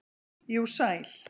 jú, sæl.